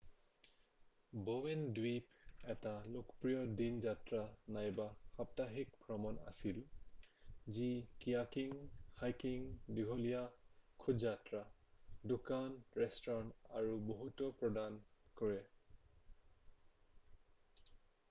"Bowen দ্বীপ এটা লোকপ্ৰিয় দিন যাত্ৰা নাইবা সাপ্তাহিক ভ্ৰমণ আছিল যি কীয়াকিং হাইকিং দীঘলীয়া খোজযাত্ৰা দোকান ৰেস্তোৰাঁ আৰু বহুতো প্ৰদান কৰে ।""